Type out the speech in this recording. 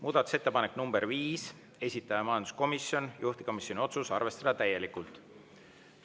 Muudatusettepanek nr 5, esitaja majanduskomisjon, juhtivkomisjoni otsus: arvestada täielikult.